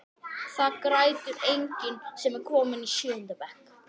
Það grætur enginn sem er kominn í sjöunda bekk.